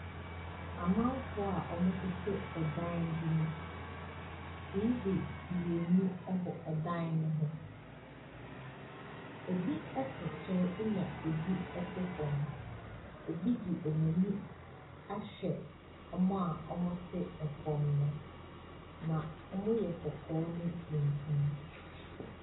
Amanfoɔ a wɔtete dan bi mu. TV mmienu bɔ dan no ho. Ebi te soro ɛnna ebi te fam. Ebi de wɔn ani ahwɛ wɔn a wɔte fam no, na wɔyɛ kɔkɔɔ ne tuntum.